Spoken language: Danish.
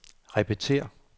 repetér